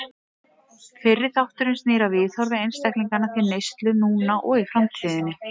Fyrri þátturinn snýr að viðhorfi einstaklinganna til neyslu núna og í framtíðinni.